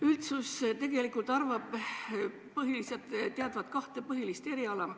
Üldsus arvab tegelikult teadvat kahte põhilist eriala ...